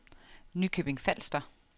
Nykøbing Falster